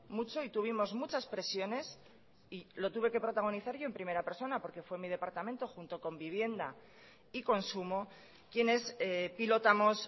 mucho y tuvimos muchas presiones y lo tuve que protagonizar yo en primera persona porque fue mi departamento junto con vivienda y consumo quienes pilotamos